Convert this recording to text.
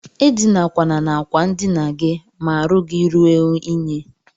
Edinakwana n'akwa ndina gi ma arụ gi rue inyi.